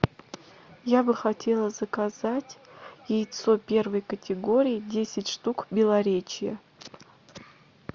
я бы хотела заказать яйцо первой категории десять штук белоречье